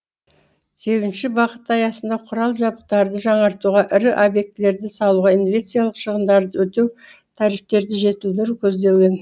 сегізінші бағыт аясында құрал жабдықтарды жаңартуға ірі объектілерді салуға инвестиялық шығындарды өтеу тарифтерді жетілдіру көздеген